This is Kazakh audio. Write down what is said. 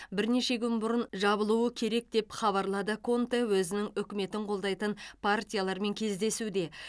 бірнеше күн бұрын жабылуы керек деп хабарлады конте өзінің үкіметін қолдайтын партиялармен кездесуде